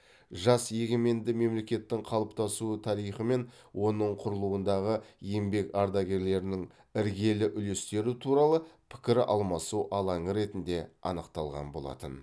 жас егеменді мемлекеттің қалыптасу тарихы мен оның құрылуындағы еңбек ардагерлерінің іргелі үлестері туралы пікір алмасу алаңы ретінде анықталған болатын